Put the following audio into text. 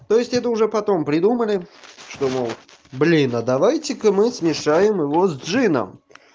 то есть это уже потом придумали что мол блин а давайте-ка мы смешаем его с джином